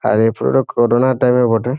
আর এই ফটো টো corona time -এর বটে ।